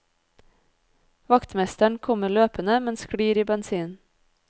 Vaktmesteren kommer løpende, men sklir i bensinen.